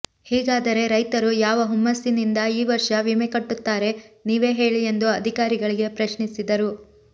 ಹೀಗಾದರೆ ರೈತರು ಯಾವ ಹುಮ್ಮಸ್ಸಿನಿಂದ ಈ ವರ್ಷ ವಿಮೆ ಕಟ್ಟುತ್ತಾರೆ ನೀವೇ ಹೇಳಿ ಎಂದು ಅಧಿಕಾರಿಗಳಿಗೆ ಪ್ರಶ್ನಿಸಿದರು